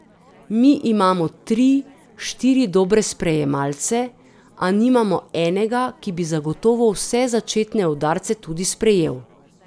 Mi imamo tri, štiri dobre sprejemalce, a nimamo enega, ki bi zagotovo vse začetne udarce tudi sprejel.